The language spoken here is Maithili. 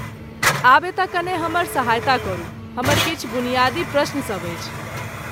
आब एतऽ कने हमर सहायता करू, हमर किछु बुनियादी प्रश्न सब अछि।